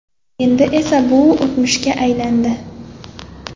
Endi esa bu o‘tmishga aylandi.